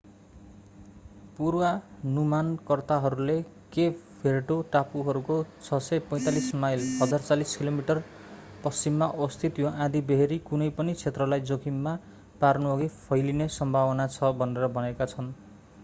पूर्वानुमानकर्ताहरूले Cape Verde टापुहरूको 645 mile 1040 kilometre पश्चिममा अवस्थित यो आँधीबेहरी कुनै पनि क्षेत्रलाई जोखिममा पार्नुअघि फैलिने सम्भावना छ भनेर भनेका छन्‌।